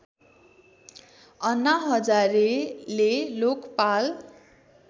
अन्ना हजारेले लोकपाल